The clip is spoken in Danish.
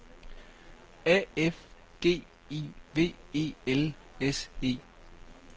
A F G I V E L S E